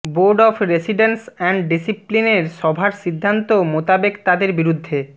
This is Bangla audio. বোর্ড অব রেসিডেন্স অ্যান্ড ডিসিপ্লিনের সভার সিদ্ধান্ত মোতাবেক তাদের বিরুদ্ধে